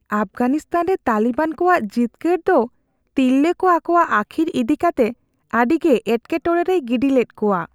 ᱟᱯᱷᱜᱟᱱᱤᱥᱛᱷᱟᱱ ᱨᱮ ᱛᱟᱞᱤᱵᱟᱱ ᱠᱚᱣᱟᱜ ᱡᱤᱛᱠᱟᱹᱨ ᱫᱚ ᱛᱤᱨᱞᱟᱹ ᱠᱚ ᱟᱠᱚᱣᱟᱜ ᱟᱹᱠᱷᱤᱨ ᱤᱫᱤ ᱠᱟᱛᱮ ᱟᱹᱰᱤᱜᱮ ᱮᱴᱠᱮᱼᱴᱚᱲᱮ ᱨᱮᱭ ᱜᱤᱰᱤ ᱞᱮᱫ ᱠᱚᱣᱟ ᱾